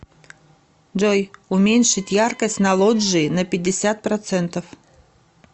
джой уменьшить яркость на лоджии на пятьдесят процентов